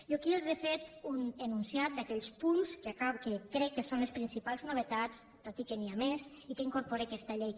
jo aquí els he fet un enunciat d’aquells punts que crec que són les principals novetats tot i que n’hi ha més i que incorpora aquesta llei